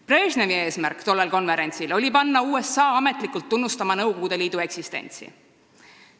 Brežnevi eesmärk tollel konverentsil oli panna USA-d ametlikult tunnustama Nõukogude Liidu eksistentsi.